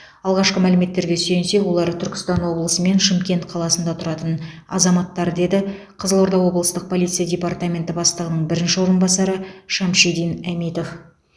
алғашқы мәліметтерге сүйенсек олар түркістан облысы мен шымкент қаласында тұратын азаматтар деді қызылорда облыстық полиция департаменті бастығының бірінші орынбасары шамшидин әмитов